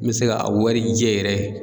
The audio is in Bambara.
N bɛ se ka a warijɛ yɛrɛ